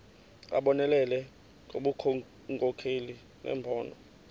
abonelele ngobunkokheli nembono